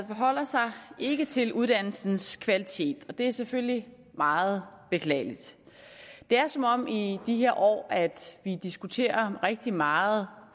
forholder sig ikke til uddannelsens kvalitet og det er selvfølgelig meget beklageligt det er som om vi i de her år diskuterer rigtig meget